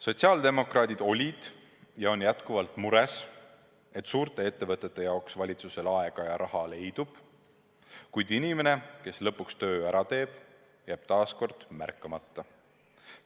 Sotsiaaldemokraadid olid ja on jätkuvalt mures, et suurte ettevõtete jaoks valitsusel aega ja raha leidub, kuid inimene, kes töö lõpuks ära teeb, jääb taas märkamata.